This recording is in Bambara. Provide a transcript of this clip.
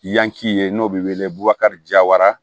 Yanci ye n'o bɛ wele bubakari jawara